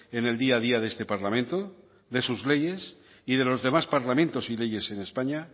en el día a día de este parlamento de sus leyes y de los demás parlamentos y leyes en españa